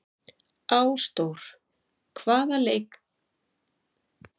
Ásdór, hvaða sýningar eru í leikhúsinu á laugardaginn?